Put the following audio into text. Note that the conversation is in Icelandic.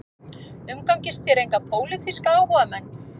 Umgangist þér enga pólitíska áhugamenn